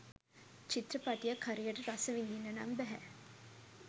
චිත්‍රපටියක් හරියට රස විඳින්න නම් බැහැ